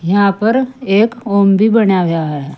यहां पर एक ओम बनाया गया है।